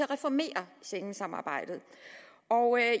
reformere schengensamarbejdet